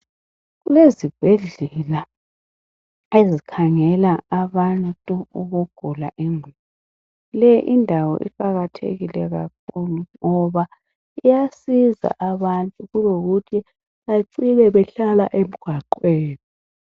Kulezibhedlela ezikhangela abantu ukugula ingqondo, leyi indawo iqakathekile kakhulu ngoba iyasiza abantu kulokuthi becina behlala emgwaqweni.